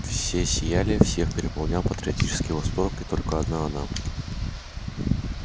все сияли всех переполнял патриотический восторг и только одна она